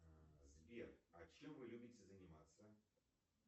сбер а чем вы любите заниматься